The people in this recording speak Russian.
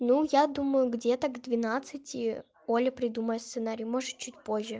ну я думаю где-то к двенадцати оля придумает сценарий может чуть позже